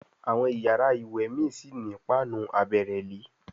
Àwọn iyàrá ìwé mí sí ní Páànù àbẹ̀rẹ̀lé.